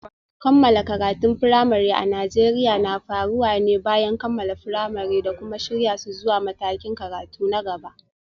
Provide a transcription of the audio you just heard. Kammala karatun firamare a Najeriya na faruwa ne bayan kammala firamare da kuma shirya su zuwa matakin karatu na gaba.